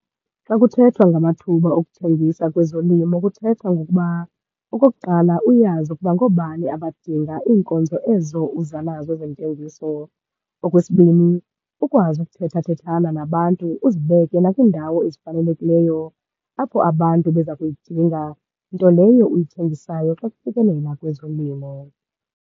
Xa kuthethwa ngamathuba okuthengisa kwezolimo, kuthethwa ngokuba okokuqala uyazi ukuba ngoobani abadinga iinkonzo ezo uza nazo zentengiso. Okwesibini ukwazi ukuthethathethana nabantu, uzibeke nakwiindawo ezifanelekileyo apho abantu beza kuyidinga nto leyo uyithengisayo xa kufikelela kwezolimo.